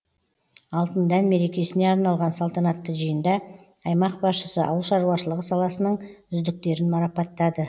алтын дән мерекесіне арналған салтанатты жиында аймақ басшысы ауыл шаруашылығы саласының үздіктерін марапаттады